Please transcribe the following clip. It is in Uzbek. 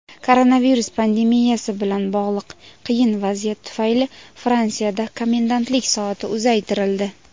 Koronavirus pandemiyasi bilan bog‘liq qiyin vaziyat tufayli Fransiyada komendantlik soati uzaytirildi.